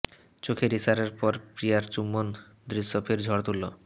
চোখের ইশারার পর প্রিয়ার চুম্বন দৃশ্য ফের ঝড় তুলল